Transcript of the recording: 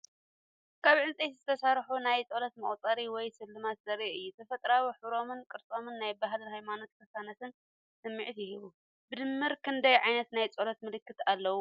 ካብ ዕንጨይቲ ዝተሰርሑ ናይ ጸሎት መቑፀሪ ወይ ስልማት ዘርኢ እዩ። ተፈጥሮኣዊ ሕብሮምን ቅርጾምን ናይ ባህልን ሃይማኖትን ቅሳነትን ስምዒት ይህብ። ብድምር ክንደይ ዓይነት ናይ ጸሎት ምልክት ኣለዉ?